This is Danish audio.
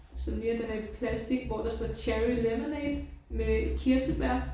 Sådan lige at den er i plastik hvor der står cherry lemonade med kirsebær